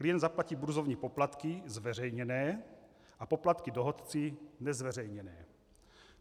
Klient zaplatí burzovní poplatky zveřejněné a poplatky dohodci nezveřejněné.